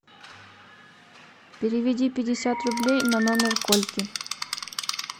переведи пятьдесят рублей на номер кольки